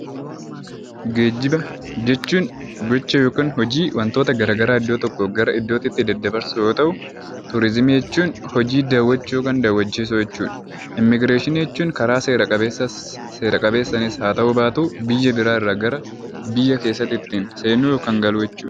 Geejjiba jechuun gocha yookiin hojii wantoota garaagaraa iddoo tokkoo gara iddootti kan geggeessu yoo ta'u, turizimii jechuun hojii daawwachuu jechuudha. Immiigireeshinii jechuun karaa seera qabeessas seera maleessas ta'u biyya biraarraa irraa gara biyya keessaatti seenuu yookiin bahuu jechuudha.